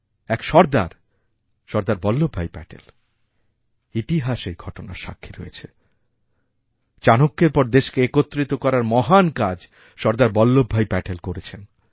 এক সর্দার সর্দার বল্লভভাই প্যাটেল ইতিহাস এইঘটনার সাক্ষী রয়েছে চাণক্যের পর দেশকে একত্রিত করার মহান কাজ সর্দার বল্লভভাইপ্যাটেল করেছেন